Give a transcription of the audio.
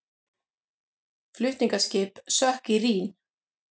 Flutningaskip sökk í Rín